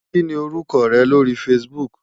Kí ni orúkọ rẹ lórí Facebook?